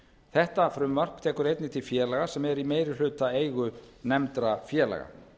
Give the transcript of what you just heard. þetta frumvarp tekur einnig til félaga sem eru í meirihlutaeigu nefndra félaga